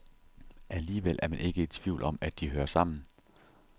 Alligevel er man ikke i tvivl om, at de hører sammen.